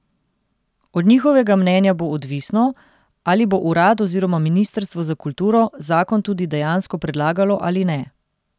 Od njihovega mnenja bo odvisno, ali bo urad oziroma ministrstvo za kulturo zakon tudi dejansko predlagalo ali ne.